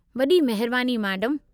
वॾी महिरबानी, मैडमु।